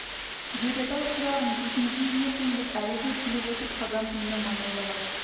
дер еді-ау шырағым жұрт не дейді ертең деп әлі де күліп отыр қазан түбінің майын жалап